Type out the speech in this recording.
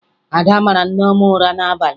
Ada mara Nneọma ụra n'abalị